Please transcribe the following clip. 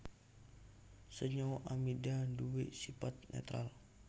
Senyawa amida nduwé sipat nétral